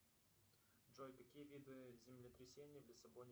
сбер какая высота у горы эверест